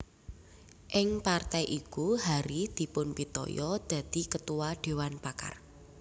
Ing partai iku Hary dipunpitaya dadi Ketua Dewan Pakar